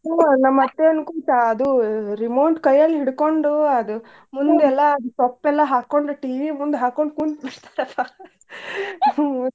ಹ್ಮ್ ನಮ್ ಅತ್ತಿ ಯಂಕೃ ಸ ಅದೂ remote ಕೈಯಲ್ ಹಿಡ್ಕೊಂಡು ಅದು ಮುಂದ್ ಎಲ್ಲಾ ಅದ ಸೊಪ್ ಎಲ್ಲಾ ಹಾಕೋಂಡ್ TV ಮುಂದ್ ಹಾಕೋಂಡ್ ಕುಂತ್ ಬಿಡ್ತಾಳ .